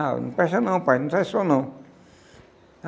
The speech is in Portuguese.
Ah, não presta não, pai, não sai som não.